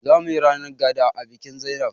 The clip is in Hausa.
Zamuyi ranar gaɗa a bikin zainab